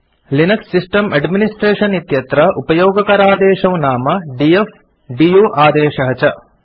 Linux system administration इत्यत्र उपयोगकरादेशौ नाम डीएफ आदेशः दु आदेशः च